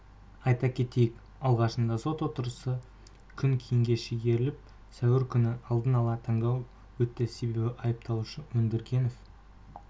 айта кетейік алғашында сот отырысы күн кейінге шегеріліп сәуір күні алдын-ала тыңдау өтті себебі айыпталушы өндіргенов